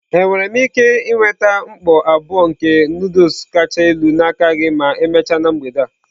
Enwere m ike nweta mkpọ abụọ nke Nụdụls kacha elu n'aka gị ma emechaa na mgbede a?